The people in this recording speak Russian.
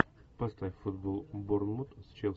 поставь футбол борнмут с челси